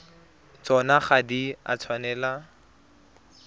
tsona ga di a tshwanela